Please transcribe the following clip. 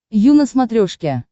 ю на смотрешке